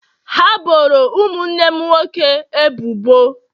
ha boro ụmụnne nwoke m ebubo.